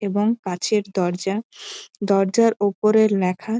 এবং কাছের দরজা দরজার ওপরে ল্যাখা--